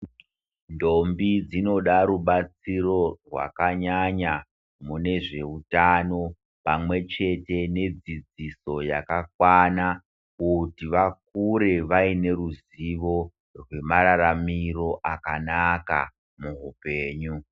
Ndombi dzinoda rubatsiro hwakanyanya nezvehutano pamwe chete nedzidziso yakakwana kuti vakure vane ruzivo nemararamiro akanaka muhupenyu.